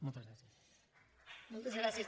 moltes gràcies